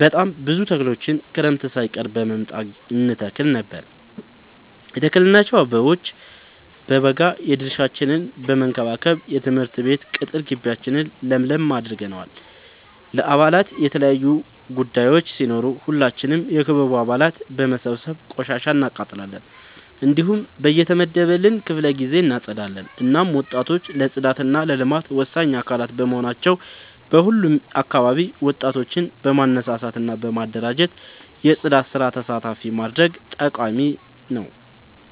በጣም ብዙ ተክሎችን ክረምት ሳይቀር በመምጣ እንተክል ነበር የተከልናቸው አበቦ በበጋ የድርሻችን በመከባከብ የትምህርት ቤት ቅጥር ጊቢያችን ለምለም አድርገነዋል። ለበአላት የተለያዩ ቡዳዮች ሲኖሩ ሁላችንም የክበቡ አባላት በመሰብሰብ ቆሻሻ እናቃጥላለን። እንዲሁም በየተመደበልን ክፍለ ጊዜ እናፀዳለን። እናም ወጣቶች ለፅዳት እና ለልማት ወሳኝ አካላት በመሆናቸው በሁሉም አካባቢ ወጣቶችን በማነሳሳት እና በማደራጀት የፅዳት ስራ ተሳታፊ ማድረግ ጠቃሚ ነው።